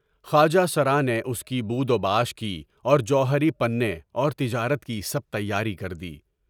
خواجہ سرانے اُس کی بود و باش کی اور جو ہری پنے اور تجارت کی سب تیاری کر دی۔